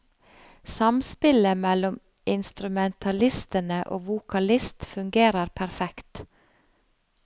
Samspillet mellom instrumentalistene og vokalist fungerer perfekt.